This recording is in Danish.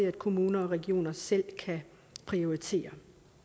at kommuner og regioner selv prioriterer